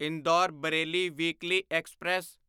Indore Bareilly weekly express